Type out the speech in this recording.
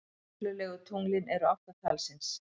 Reglulegu tunglin eru átta talsins.